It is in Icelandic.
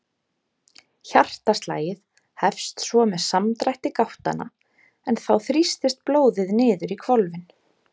Hjartaslagið hefst svo með samdrætti gáttanna en þá þrýstist blóðið niður í hvolfin.